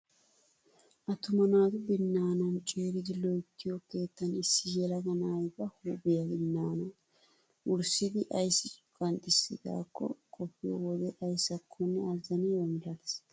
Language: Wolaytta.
Attuma naatu binnaana ciiridi loyttiyoo keettan issi yelaga na'ay ba huuphphiyaa binaana wurssidi ayssi qanxxisidaakko qoppiyoo wode ayssakonne azaniyaaba milatees!